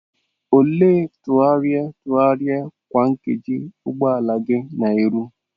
Olee ntụgharị ntụgharị kwa nkeji ụgbọ ala gị na-eru?